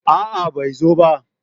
A'a bai zo ba